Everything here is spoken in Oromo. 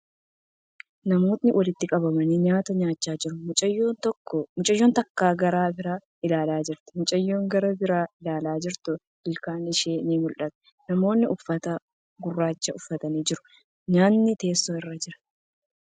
Namootni walitti qabamanii nyaata nyaachaa jiru. Mucayyoon takka gara biraa ilaalaa jirti. Mucayyoo gara biraa ilaalaa jirtu ilkaan ishee ni mul'ata. Namootni uffata gurraacha uffatan ni jiru. Nyaatni teessoo irra jira.